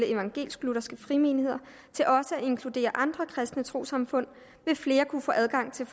evangelisk lutherske frimenigheder til også at inkludere andre kristne trossamfund vil flere kunne få adgang til